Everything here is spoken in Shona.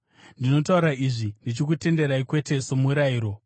Ndinotaura izvi ndichikutenderai, kwete somurayiro.